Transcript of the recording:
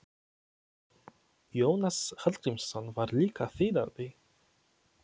Jónas Hallgrímsson var líka þýðandi.